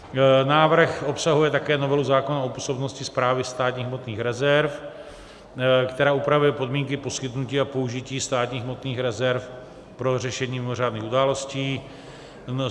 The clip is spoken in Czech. Návrh obsahuje také novelu zákona o působnosti Správy státních hmotných rezerv, která upravuje podmínky poskytnutí a použití státních hmotných rezerv pro řešení mimořádných událostí.